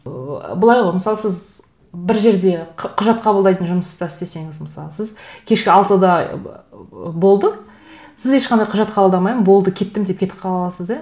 ыыы былай ғой мысалы сіз бір жерде құжат қабылдайтын жұмыста істесеңіз мысалы сіз кешкі алтыда болды сіз ешқандай құжат қабылдамаймын болды кеттім деп кетіп қала аласыз да